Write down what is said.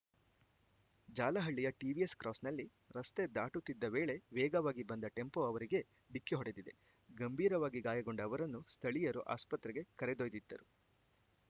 ಜಾಲಹಳ್ಳಿಯ ಟಿವಿಎಸ್‌ ಕ್ರಾಸ್‌ನಲ್ಲಿ ರಸ್ತೆ ದಾಟುತ್ತಿದ್ದ ವೇಳೆ ವೇಗವಾಗಿ ಬಂದ ಟೆಂಪೋ ಅವರಿಗೆ ಡಿಕ್ಕಿ ಹೊಡೆದಿದೆ ಗಂಭೀರವಾಗಿ ಗಾಯಗೊಂಡ ಅವರನ್ನು ಸ್ಥಳೀಯರು ಆಸ್ಪತ್ರೆಗೆ ಕರೆದೊಯ್ದಿದ್ದರು